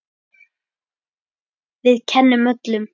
Við kennum öllum.